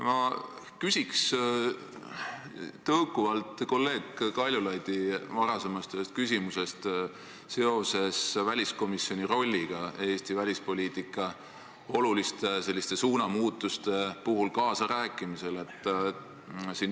Ma küsiks tõukuvalt kolleeg Kaljulaidi ühest varasemast küsimusest, mis oli seotud väliskomisjoni rolliga Eesti välispoliitika oluliste suunamuutuste teemal kaasarääkimises.